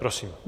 Prosím.